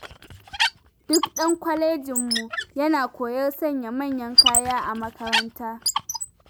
Duk ɗan kwalejinmu yana koyar sanya manyan kaya a makaranta.